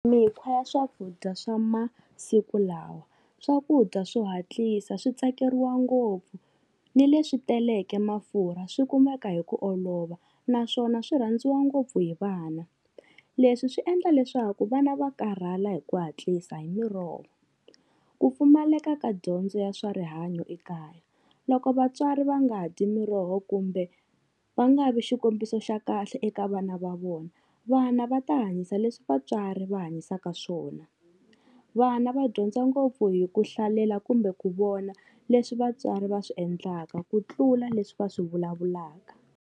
Mikhwa ya swakudya swa masiku lawa, swakudya swo hatlisa swi tsakeriwa ngopfu, ni leswi teleke mafurha swi kumeka hi ku olova, naswona swi rhandziwa ngopfu hi vana. Leswi swi endla leswaku vana va karhala hi ku hatlisa hi miroho. Ku pfumaleka ka dyondzo ya swa rihanyo ekaya, loko vatswari va nga dyi miroho kumbe va nga vi xikombiso xa kahle eka vana va vona, vana va ta hanyisa leswi vatswari va hanyisaka swona, vana va dyondza ngopfu hi ku hlalela kumbe ku vona leswi vatswari va swi endlaka ku tlula leswi va swi vulavulaka.